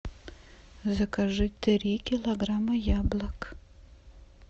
закажи три килограмма яблок